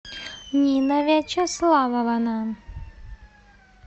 нина вячеславовна